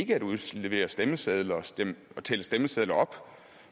ikke at udlevere stemmesedler og tælle stemmesedler op